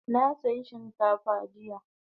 Na saya shinkafa jiya